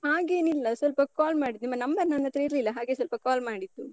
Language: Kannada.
ಹಾಗೇನಿಲ್ಲ. ಸ್ವಲ್ಪ call ಮಾಡಿದ್ದು. ನಿಮ್ಮ number ನನ್ ಹತ್ರ ಇರ್ಲಿಲ್ಲ, ಹಾಗೆ ಸ್ವಲ್ಪ call ಮಾಡಿದ್ದು.